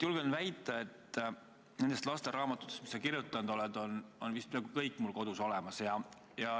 Julgen väita, et nendest lasteraamatutest, mis sa kirjutanud oled, on peaaegu kõik mul kodus olemas.